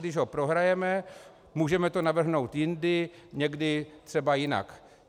Když ho prohrajeme, můžeme to navrhnout jindy, někdy třeba jinak.